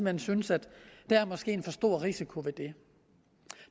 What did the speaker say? hen synes at der måske er en for stor risiko ved det